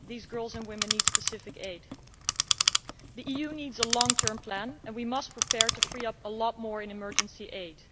These girls and women need specific aid. The EU needs a long term plan, and we must prepare to free up a lot more in emergency aid.